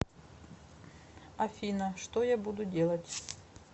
афина что я буду делать